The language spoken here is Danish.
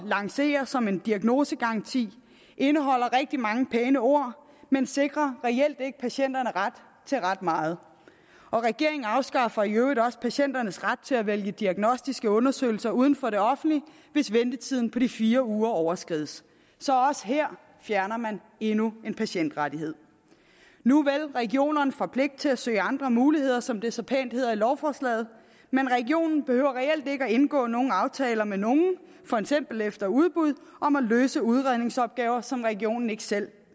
lancere som en diagnosegaranti indeholder rigtig mange pæne ord men sikrer reelt ikke patienterne ret til ret meget og regeringen afskaffer i øvrigt også patienternes ret til at vælge diagnostiske undersøgelser uden for det offentlige hvis ventetiden på de fire uger overskrides så også her fjerner man endnu en patientrettighed nuvel regionerne får pligt til at søge andre muligheder som det så pænt hedder i lovforslaget men regionen behøver reelt ikke at indgå nogen aftaler med nogen for eksempel efter udbud om at løse udredningsopgaver som regionen ikke selv